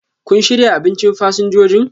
kun shirya abinchin fasinjojin?